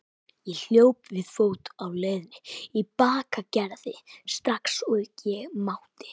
Ég hljóp við fót á leiðinni í Bakkagerði strax og ég mátti.